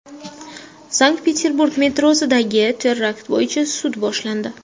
Sankt-Peterburg metrosidagi terakt bo‘yicha sud boshlandi.